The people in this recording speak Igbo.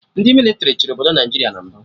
Ndị mịlịtrị chịrị obodo Naijiria na mbụ